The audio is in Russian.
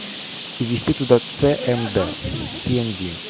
и ввести туда ц м д си м ди